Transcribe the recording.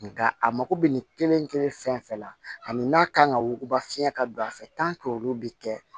Nka a mako bɛ nin kelen kelen fɛn fɛn la ani n'a kan ka wuguba fiyɛ ka don a fɛ olu bɛ kɛ